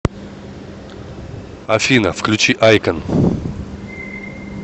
афина включи айкон